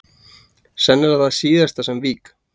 Sennilega það síðasta sem vík